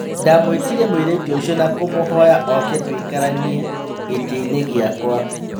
Ndamũĩtire mũirĩtu ũcio na kũmũhoya oke tũikaranie gĩtĩinĩ gĩakwa.